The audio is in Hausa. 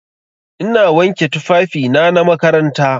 Ina wanke tufafina na makaranta.